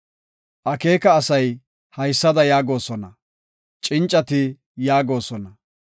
Akeeka asay haysada yaagosona; cincati yaagosona;